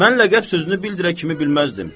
Mən ləqəb sözünü bildirə kimi bilməzdim.